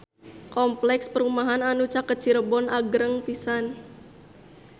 Kompleks perumahan anu caket Cirebon agreng pisan